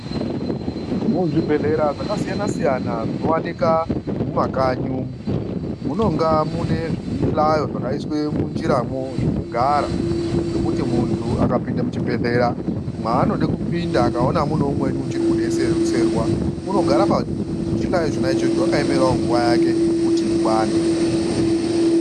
Muzvibhedhlera zvakasiyana-siyana zvinowanikwa mumakanyi umu munonga mune zvihlayo zvakaiswe munjiramo zvekugara, zvekuti kana muntu akapinda muchibhehlera maanoda kupinda akaona mune umweni uchiri kudetserwa unogara pachihlaro ichocho akaemera kuti nguva yake kuti ikwane.